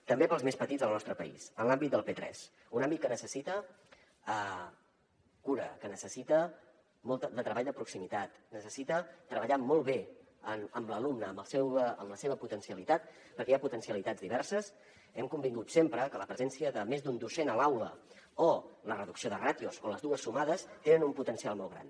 també per als més petits del nostre país en l’àmbit del p3 un àmbit que necessita cura que necessita molt de treball de proximitat necessita treballar molt bé amb l’alumne amb la seva potencialitat perquè hi ha potencialitats diverses hem convingut sempre que la presència de més d’un docent a l’aula o la reducció de ràtios o les dues sumades tenen un potencial molt gran